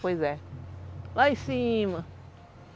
Pois é. Lá em cima.